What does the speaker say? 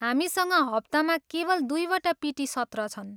हामीसँग हप्तामा केवल दुईवटा पिटी सत्र छन्।